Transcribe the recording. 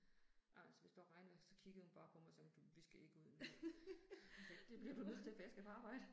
Altså hvis det var regnvejr så kiggede han bare på mig sådan du vi skal ikke ud nu. Det bliver du nødt til, for jeg skal på arbejde